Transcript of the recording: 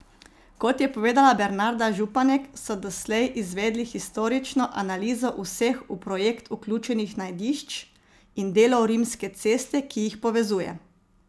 Kot je povedala Bernarda Županek, so doslej izvedli historično analizo vseh v projekt vključenih najdišč in delov rimske ceste, ki jih povezuje.